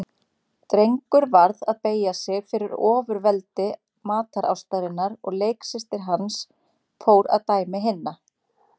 Drengur varð að beygja sig fyrir ofurveldi matarástarinnar og leiksystir hans fór að dæmi hinna.